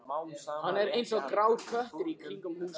Hann er eins og grár köttur í kringum húsið.